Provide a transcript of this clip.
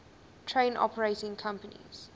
train operating companies